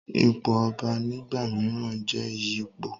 ipò ọba nígbà mìíràn n jẹ́ ìyípo